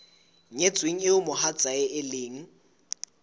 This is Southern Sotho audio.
nyetsweng eo mohatsae e leng